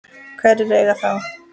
Hverjir eiga þá?